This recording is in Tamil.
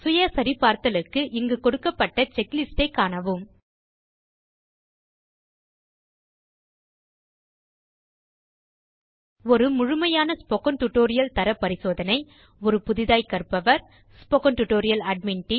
சுய சரிபார்த்தலுக்கு இங்கு கொடுக்கப்பட்டுள்ள செக்லிஸ்ட் ஐ காணவும் ஒரு முழுமையான ஸ்போக்கன் டியூட்டோரியல் தரப் பரிசோதனை ஒரு புதிதாய்க் கற்பவர் ஸ்போக்கன் டியூட்டோரியல் ஏடிஎம்என்